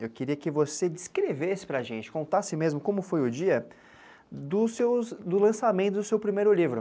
Eu queria que você descrevesse para a gente, contasse mesmo como foi o dia do lançamento do seu primeiro livro.